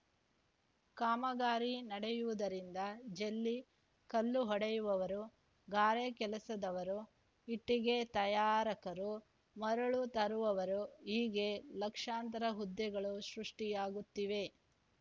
ಕಾಮಗಾರಿ ನಡೆಯುವುದರಿಂದ ಜೆಲ್ಲಿ ಕಲ್ಲು ಹೊಡೆಯವವರು ಗಾರೆ ಕೆಲಸದವರು ಇಟ್ಟಿಗೆ ತಯಾರಕರು ಮರಳು ತರುವವರು ಹೀಗೆ ಲಕ್ಷಾಂತರ ಹುದ್ದೆಗಳು ಸೃಷ್ಟಿಆಗುತ್ತಿವೆ